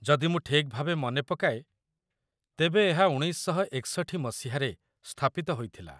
ଯଦି ମୁଁ ଠିକ୍ ଭାବେ ମନେ ପକାଏ, ତେବେ ଏହା ୧୯୬୧ ମସିହାରେ ସ୍ଥାପିତ ହୋଇଥିଲା।